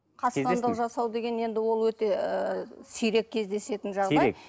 қастандық жасау деген енді ол өте ыыы сирек кездесетін жағдай сирек